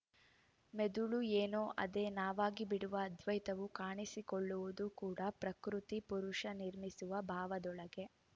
ಮೆದುಳು ಏನೋ ಅದೇ ನಾವಾಗಿಬಿಡುವ ಅದ್ವೈತವು ಕಾಣಿಸಿಕೊಳ್ಳುವುದು ಕೂಡ ಪ್ರಕೃತಿಪುರುಷ ನಿರ್ಮಿಸುವ ಭಾವದೊಳಗೆ